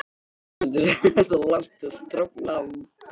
Höskuldur: Er þetta langt og strangt nám?